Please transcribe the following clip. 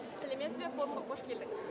сәлеметсіз бе форумға қош келдіңіз